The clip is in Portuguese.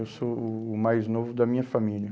Eu sou o o mais novo da minha família.